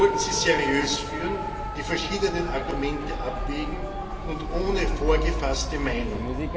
Wir sollten sie seriös führen die verschiedenen Argumente abwägen und ohne vorgefasste Meinung.